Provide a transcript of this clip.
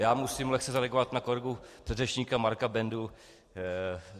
Já musím lehce zareagovat na kolegu předřečníka Marka Bendu.